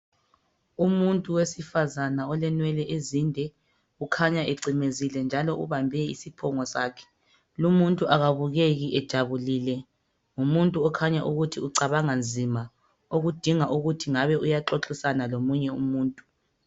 Umuntu wesifazana olenwele ezinde ukhanya ecimezile njalo ubambe isiphongo sakhe. Lumuntu akabukeki ejabulile, ngumuntu okhanya ukuthi ucabanga nzima okudinga ukuthi ngabe uyaxoxisana lomunye umuntu.